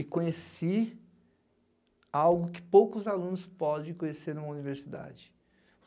E conheci algo que poucos alunos podem conhecer em uma universidade.